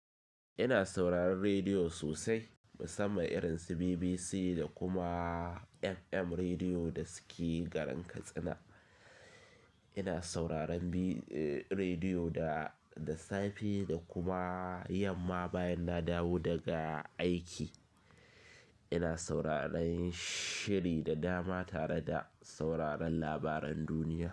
Ina sauraron rediyo sosai, musamman irin su BBC da kuma FM Rediyo da suke garin Katsina. Ina sauraron bi-- eh, rediyo da, da safe da kuma yamma bayan na dawo daga aiki. Ina sauraron shiri da dama tare da sauraron labaran duniya.